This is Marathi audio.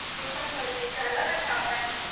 मी पण बरी आहे. झाला का चहा-पाणी मग?